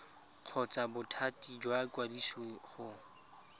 kgotsa bothati jwa ikwadiso go